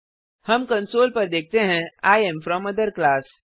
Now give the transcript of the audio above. हम कंसोल पर देखते हैं I am from other class